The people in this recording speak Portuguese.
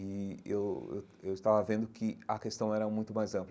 E eu eu eu estava vendo que a questão era muito mais ampla.